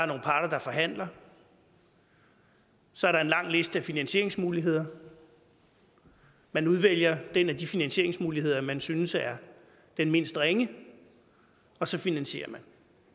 nogle parter der forhandler så er der en lang liste af finansieringsmuligheder man udvælger den af de finansieringsmuligheder man synes er den mindst ringe og så finansierer man